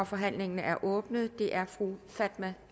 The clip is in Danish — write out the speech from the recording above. forhandlingen er åbnet og det er fru fatma